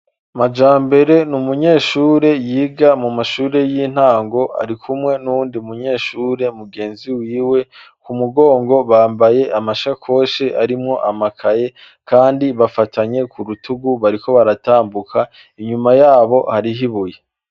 Majambere n'umunyeshure yiga mu mashure y'intango ,ari kumwe n'uwundi munyeshure mugenziwiwe, ku mugongo bambaye amashekoshi arimwo amakaye, kandi bafatanye ku rutugu bariko baratambuka, inyuma yabo harih'ibuye.